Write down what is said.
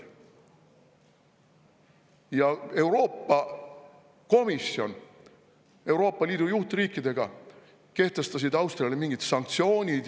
Aga Euroopa Komisjon koos Euroopa Liidu juhtriikidega kehtestas Austriale mingid sanktsioonid.